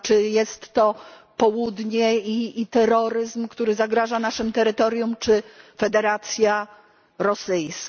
jest to Południe i terroryzm, który zagraża naszym terytoriom, czy Federacja Rosyjska.